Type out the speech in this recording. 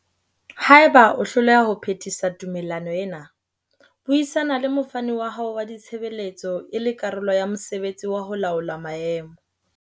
Haeba o hloleha ho phethisa tumellano ena, buisana le mofani wa hao wa ditshebeletso e le karolo ya mosebetsi wa ho laola maemo.